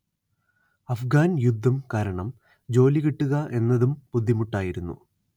അഫ്ഗാൻ യുദ്ധം കാരണം ജോലി കിട്ടുക എന്നതും ബുദ്ധിമുട്ടായിരുന്നു